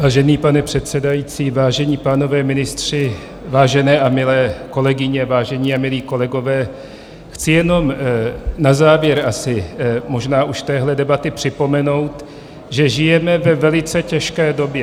Vážený pane předsedající, vážení pánové ministři, vážené a milé kolegyně, vážení a milí kolegové, chci jenom na závěr asi možná už téhle debaty připomenout, že žijeme ve velice těžké době.